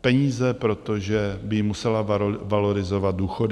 peníze, protože by jim musela valorizovat důchody.